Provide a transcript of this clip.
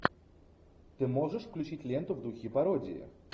ты можешь включить ленту в духе пародии